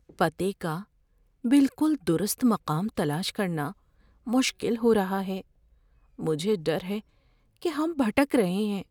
پتے کا بالکل درست مقام تلاش کرنا مشکل ہو رہا ہے۔ مجھے ڈر ہے کہ ہم بھٹک رہے ہیں۔